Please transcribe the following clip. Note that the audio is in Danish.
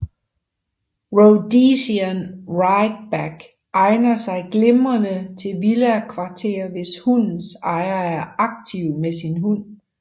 Rhodesian ridgeback egner sig glimrende til villakvarter hvis hundens ejer er aktiv med sin hund